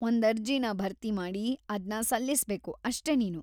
ಒಂದ್ ಅರ್ಜಿನ ಭರ್ತಿಮಾಡಿ ಅದ್ನ ಸಲ್ಲಿಸ್ಬೇಕು ಅಷ್ಟೇ ನೀನು.